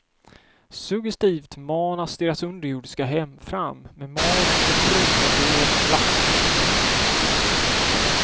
Suggestivt manas deras underjordiska hem fram med magiska trummor och dovt plaskande.